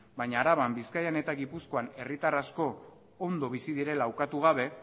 baina araban bizkaian eta gipuzkoan herritarrak asko ondo bizi direla ukatu gabe